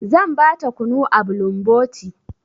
Zan ba ta kunu a bulumboti.